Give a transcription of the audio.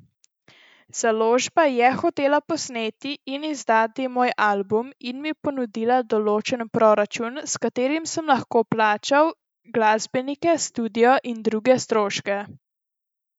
Založba je hotela posneti in izdati moj album in mi ponudila določen proračun, s katerim sem lahko plačal glasbenike, studio in druge stroške.